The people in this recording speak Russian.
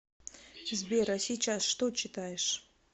сбер а сейчас что читаешь